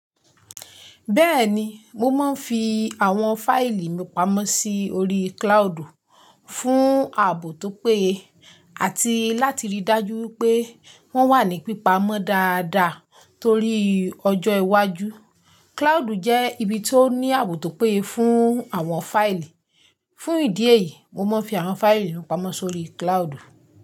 Bẹ́ẹ̀ni, mo máa ń fi àwọn fáìlì mi pamọ́ sí orí cloudu fún ààbò tó péye àti láti rí i dájú pé wọ́n wà ní pípa mọ́ dáadáa torí ọjọ́ iwájú. Cloudu jẹ́ ibi tó ní ààbò tó péye fún àwọn fáìlì. Fún ìdí èyí, mo máa ń fi àwọn fáìlì mi pamọ́ sórí cloudu.